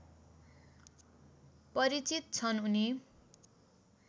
परिचित छन् उनी